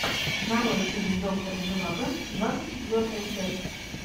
нарой фильм доктор живаго двадцать четвертая часть